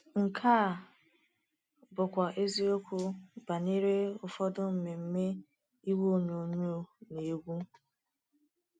Nke a bụkwa eziokwu banyere ụfọdụ mmemme igwe onyonyo na egwu.